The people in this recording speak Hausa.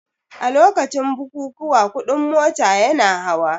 A lokacin bukukuwa kuɗin mota yana hawa